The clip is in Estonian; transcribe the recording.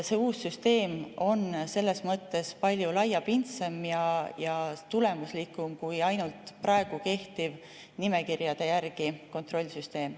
See uus süsteem on selles mõttes palju laiapindsem ja tulemuslikum kui kehtiv nimekirjade järgi toimiv kontrollsüsteem.